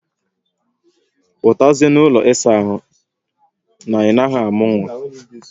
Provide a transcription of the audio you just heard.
Putazie n'ụlọ isa ahụ na ị naghị amụ nwa